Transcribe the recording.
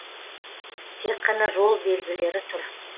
тек қана жол белгілері тұр